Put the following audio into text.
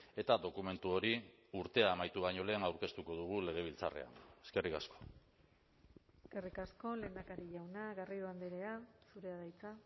eta dokumentu hori urtea amaitu baino lehen aurkeztuko dugu legebiltzarrean eskerrik asko eskerrik asko lehendakari jauna garrido andrea zurea da hitza